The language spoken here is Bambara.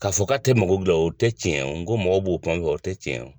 K'a fɔ k'a tɛ mago kila o tɛ tiɲɛ ye, n ko mɔgɔw b'o kuma o fɔ o tɛ tiɲɛ ye.